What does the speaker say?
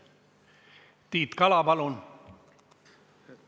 Tiit Kala, palun!